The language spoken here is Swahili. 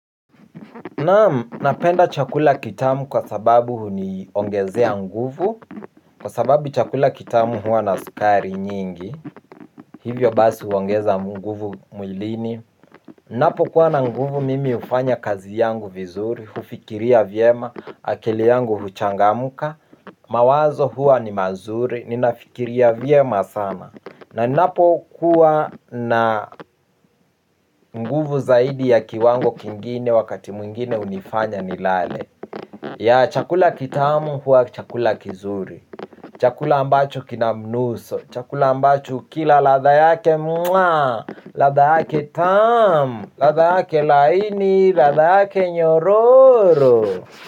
Naam, napenda chakula kitamu kwa sababu huniongezea nguvu. Kwa sababu chakula kitamu huwa na sukari nyingi. Hivyo basi huongeza nguvu mwilini ninapokuwa na nguvu mimi hufanya kazi yangu vizuri. Hufikiria vyema, akili yangu huchangamka. Mawazo huwa ni mazuri, ninafikiria vyema sana. Na ninapo kuwa na nguvu zaidi ya kiwango kingine wakati mwingine hunifanya nilale. Ya chakula kitamu huwa chakula kizuri. Chakula ambacho kina mnuso chakula ambacho kila ladha yake mwa ladha yake tamu. Ladha yake laini. Ladha yake nyororo.